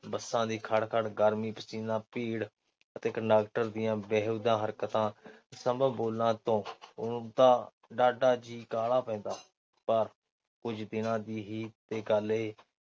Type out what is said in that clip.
ਬੱਸਾਂ ਦੀ ਖੜ-ਖੜ, ਗਰਮੀ, ਪਸੀਨਾ, ਭੀੜ ਤੇ ਕੰਡਕਟਰ ਦੀਆਂ ਬੇਹੁਦਾ ਹਰਕਤਾਂ ਬੋਲਾਂ ਤੋਂ ਉਸਦਾ ਜੀਅ ਡਾਹਢਾ ਕਾਹਲਾ ਪੈਂਦਾ। ਪਰ ਕੁਝ ਦਿਨਾਂ ਦੀ ਹੀ ਤੇ ਗੱਲ ਏ